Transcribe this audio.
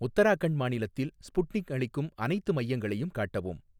உத்தராகண்ட் மாநிலத்தில் ஸ்புட்னிக் அளிக்கும் அனைத்து மையங்களையும் காட்டவும்